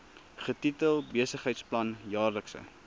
getitel besigheidsplan jaarlikse